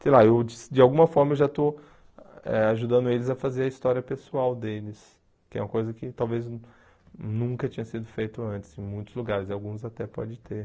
Sei lá, eu de alguma forma eu já estou eh ajudando eles a fazer a história pessoal deles, que é uma coisa que talvez nunca tinha sido feita antes em muitos lugares, e alguns até podem ter.